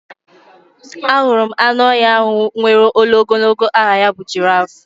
Ahụrụ m anụ ọhịa ahụ nwèrè olu ogologo aha ya bụ jiraaf.